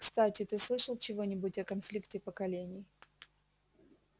кстати ты слышал чего-нибудь о конфликте поколений